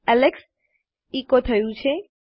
Alex Echo થયું છે